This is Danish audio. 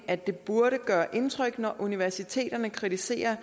at det burde gøre indtryk når universiteterne kritiserer